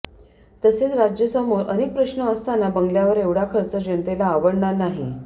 तसेच राज्यसमोर अनेक प्रश्न असताना बंगल्यावर एवढा खर्च जनतेला आवडणार नाही